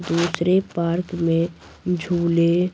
दूसरे पार्क में झूले--